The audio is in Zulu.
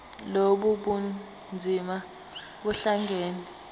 lobu bunzima buhlangane